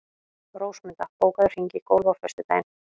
Rósmunda, bókaðu hring í golf á föstudaginn.